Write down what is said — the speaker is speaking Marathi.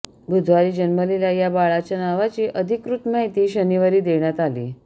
बुधवारी जन्मलेल्या या बाळाच्या नावाची अधिकृत माहिती शनिवारी देण्यात आली